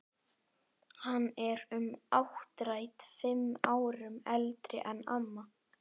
Hann er um áttrætt, fimm árum eldri en amma.